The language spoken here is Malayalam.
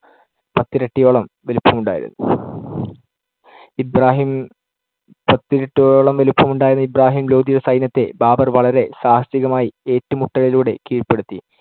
പത്തിരട്ടിയോളം വലിപ്പമുണ്ടായിരുന്നു. ഇബ്രാഹിം~ പത്തിരട്ടിയോളം വലിപ്പമുണ്ടായിരുന്ന ഇബ്രാഹിം ലോധിയുടെ സൈന്യത്തെ ബാബർ വളരെ സാഹസികമായി ഏറ്റുമുട്ടലിലൂടെ കീഴ്പ്പെടുത്തി.